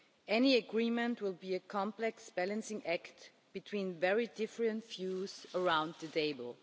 be. Any agreement will be a complex balancing act between very different views around the table.